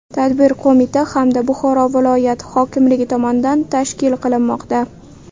Tadbir qo‘mita hamda Buxoro viloyat hokimligi tomonidan tashkil qilinmoqda.